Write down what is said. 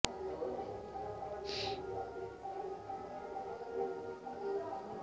অসমলৈ কিয় আহিছে ৰাষ্ট্ৰীয় স্বয়ংসেৱক সংঘৰ সৰ সংঘ চালক মোহন ভাগৱত